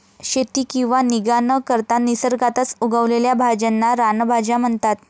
शेती किंवा निगा न करता निसर्गातच उगवलेल्या भाज्यांना रानभाज्या म्हणतात.